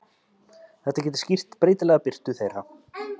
Það getur skýrt breytilega birtu þeirra.